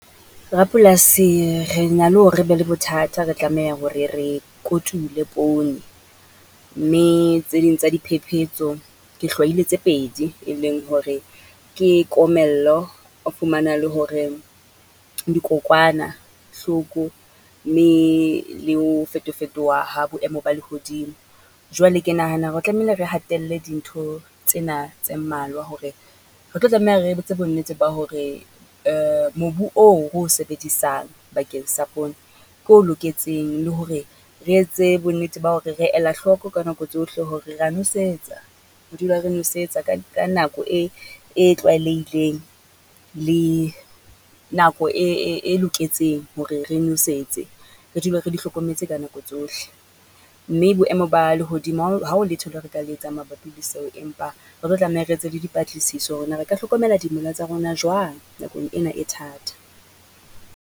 Rapolasi re na le hore re be le bothata re tlameha hore re kotule poone, mme tse ding tsa di phephetso ke hlwahile tse pedi, e leng hore ke komello, o fumana le hore dikowanahloko, mme le ho fetofetoha ha boemo ba lehodimo. Jwale ke nahana hore tlamehile re hatelle dintho tsena tse mmalwa hore, re tlo tlameha re etse bonnete ba hore, mobu oo ro sebedisang bakeng sa poone, ke o loketseng le hore re etse bonnete ba hore re ela hloko ka nako tsohle hore ra nosetsa. Re dula re nosetsa ka ka nako e e tlwaelehileng, le nako e loketseng hore re nosetse. Re dule re di hlokometse ka nako tsohle, mme boemo ba lehodimo ha o, ha o letho le re ka le etsang mabapi le seo. Empa re tlo tlameha re etse le di patlisiso, hore na re ka hlokomela dimela tsa rona jwang, nakong ena e thata?